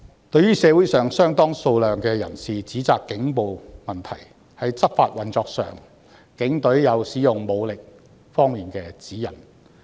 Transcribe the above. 對於社會上有相當數量的人士指責警暴問題，在執法運作上，警隊有使用武力方面的指引。